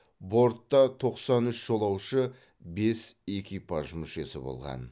бортта тоқсан үш жолаушы бес экипаж мүшесі болған